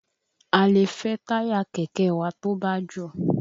A lè fẹ́ táyà kẹ̀kẹ́ wa tó bá jò.